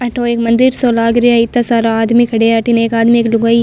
अठ ओ मंदिर सो लाग रहा है एता सारा आदमी खड़े है अठन एक आदमी एक लुगाई --